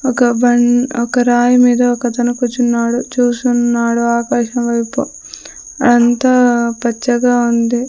ఒక బన్ రాయి మీద ఒక అతను కూర్చున్నాడు చూస్తున్నాడు ఆకాశం వైపు అంత పచ్చగా ఉంది.